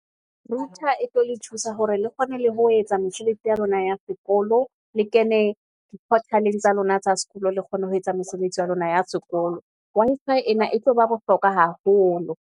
Router e tlo le thusa hore le kgone le ho etsa mosebetsi ya lona ya sekolo, le kene di portal-eng tsa lona tsa sekolo, le kgone ho etsa mosebetsi wa lona ya sekolo. Wi-Fi ena e tlo ba bohlokwa haholo.